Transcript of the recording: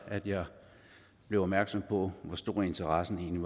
jeg blev opmærksom på hvor stor interessen egentlig